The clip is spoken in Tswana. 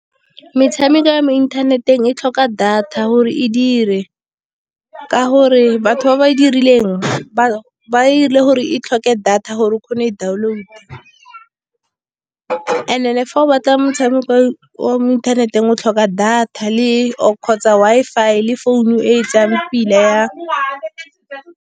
Metshameko ya mo inthaneteng e tlhoka data gore e dire. Ka gore batho ba ba dirileng ba e dirile gore e tlhoke data gore o kgone go e download-a. And then fa o batla motshameko wa mo inthaneteng o tlhoka data, kgotsa Wi-Fi le founu e e tsayang pila ya .